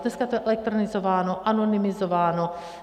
Dneska to je elektronizováno, anonymizováno.